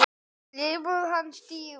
Hann lætur ekki bugast.